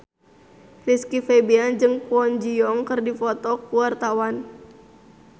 Rizky Febian jeung Kwon Ji Yong keur dipoto ku wartawan